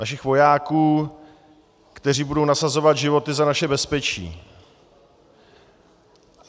Našich vojáků, kteří budou nasazovat životy za naše bezpečí.